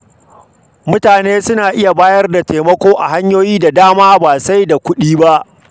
Mutane suna iya bayar da taimako a hanyoyi da dama ba sai da kuɗi ba.